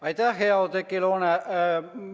Aitäh, hea Oudekki Loone!